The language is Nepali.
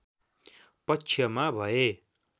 पक्षमा भए